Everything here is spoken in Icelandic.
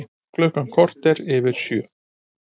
Klukkan korter yfir sjö